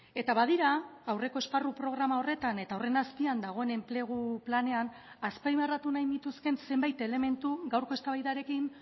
eta badira aurreko esparru programa horretan eta horren azpian dagoen enplegu planean azpimarratu nahi nituzkeen zenbait elementu gaurko eztabaidarekin